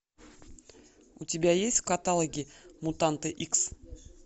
у тебя есть в каталоге мутанты икс